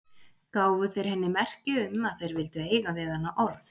Gáfu þeir henni merki um að þeir vildu eiga við hana orð.